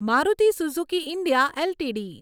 Maruti Suzuki India LTD